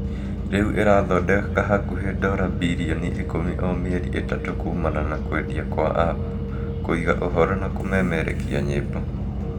rĩu irathondeka hakuhi dora birioni ikumi o mĩeri ĩtatu kumana na kwendia kwa apu, kũiga ũhoro na kumemerekia nyimbo